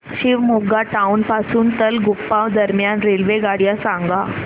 Shivamogga town पासून तलगुप्पा दरम्यान रेल्वेगाड्या सांगा